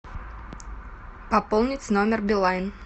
пополнить номер билайн